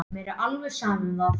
Mér er alveg sama um það.